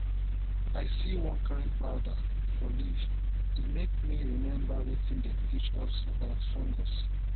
i see one kain powder for leaf e make me remember wetin dem teach teach us about fungus